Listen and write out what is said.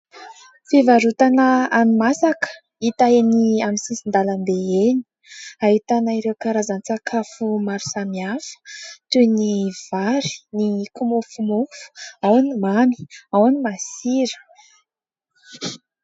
Fivarotana hani-masaka hita eny amin'ny sisin-dalambe eny. Ahitana ireo karazan-tsakafo maro samihafa toy ny vary, ny kimofomofo ao ny mamy, ao ny masira.